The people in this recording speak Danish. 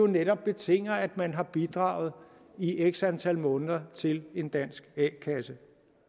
netop betinger at man har bidraget i x antal måneder til en dansk a kasse